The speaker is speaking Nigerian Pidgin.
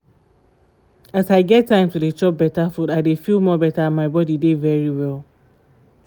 as i get time to dey chop better food i dey feel more better and my body dey very well